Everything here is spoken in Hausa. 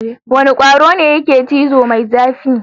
Wane kwaro ne yake cizo mai zafi?